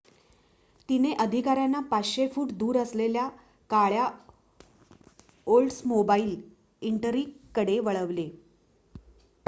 तिने अधिकाऱ्यांना 500 फुट दूर असलेल्या काळ्या ओल्ड्समोबाईल इंटरिग कडे वळवले